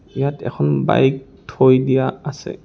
ইয়াত এখন বাইক থৈ দিয়া আছে।